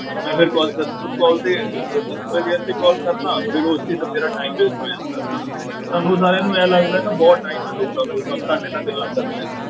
ਮੈਂ ਫਿਰ call customer call ਤੇ ਉਹ customer care ਤੇ call ਕਰਦਾਂ ਫਿਰ ਉਸ ਚੀਜ਼ ਨਾਲ ਮੇਰਾ time waste ਹੋ ਜਾਂਦਾ ਸਾਰਾ, ਤੁਹਾਨੂੰ ਸਾਰਿਆਂ ਨੂੰ ਇਉਂ ਲੱਗਦਾ ਹੈ ਨਾ ਬਹੁਤ time ਹੈ ਲੋਕਾਂ ਕੋਲ ਬਸ ਤੁਹਾਡੇ ਨਾਲ ਗੱਲਾਂ ਕਰਦੇ ਰਹੋ।